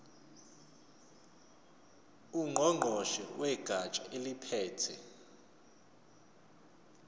ngqongqoshe wegatsha eliphethe